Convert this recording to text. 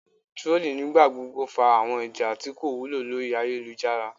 Trolling nigbagbogbo fa awọn ija ti ko wulo lori ayelujara